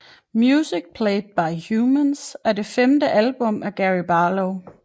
Music Played by Humans er det femte album af Gary Barlow